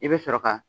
I bɛ sɔrɔ ka